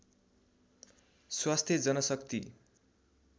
स्वास्थ्य जनशक्ति